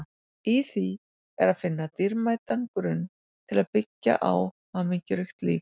Í því er að finna dýrmætan grunn til að byggja á hamingjuríkt líf.